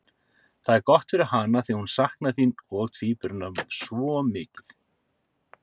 Það er gott fyrir hana því hún saknar þín og tvíburanna svo mikið.